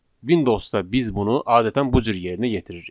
Windowsda biz bunu adətən bu cür yerinə yetiririk.